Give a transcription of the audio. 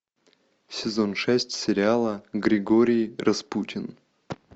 сезон шесть сериала григорий распутин